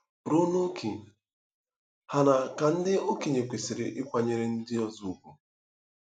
Ruo n’ókè hà aṅaa ka ndị okenye kwesịrị ịkwanyere ndị ọzọ ùgwù?